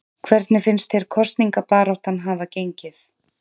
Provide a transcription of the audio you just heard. Hvernig finnst þér kosningabaráttan hafa gengið?